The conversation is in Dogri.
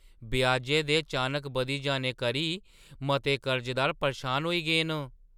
ब्याजै दे चानक बधी जाने करी मते कर्जदार परेशान होई गे न ।